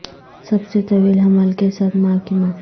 سب سے طویل حمل کے ساتھ ماں کی ماں